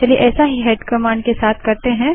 चलिए ऐसा ही हेड कमांड के साथ करते हैं